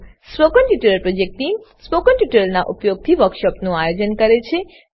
spoken tutorial project team spoken ટ્યુટોરીયલોનાં ઉપયોગથી વર્કશોપોનું આયોજન કરે છે